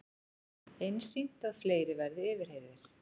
Einsýnt að fleiri verði yfirheyrðir